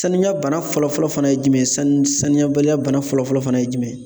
Sanuya bana fɔlɔfɔlɔ fana ye jumɛn ye ,sanu sanuya baliya bana fɔlɔ fɔlɔ ye jumɛn? ye